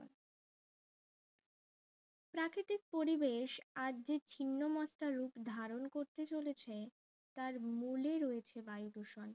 প্রাকৃতিক পরিবেশ আজ যে ছিন্নমস্তা রূপ ধারণ করতে চলেছে তার মুলি হচ্ছে বায়ু দূষণ